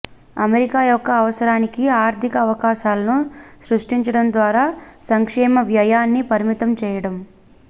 America యొక్క అవసరానికి ఆర్థిక అవకాశాలను సృష్టించడం ద్వారా సంక్షేమ వ్యయాన్ని పరిమితం చేయడం